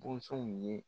Bozow ye